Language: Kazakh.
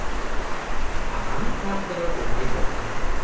ағаның тағдыры оңай болған жоқ